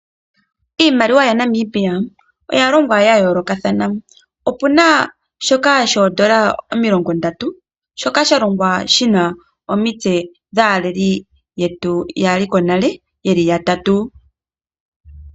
Iimaliwa yaNamibia oya longwa ya yoolokathana opu na shoka shoondola omilongo ndatu shoka shalongwa shi na omitse dhaaleli yetu yaliko nale yeli yatatu.